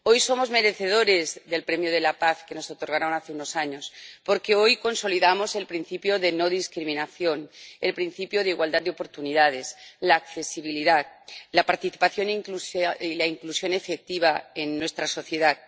Hoy somos merecedores del premio de la paz que nos otorgaron hace unos años, porque hoy consolidamos el principio de no discriminación, el principio de igualdad de oportunidades, la accesibilidad, la participación y la inclusión efectiva en nuestra sociedad.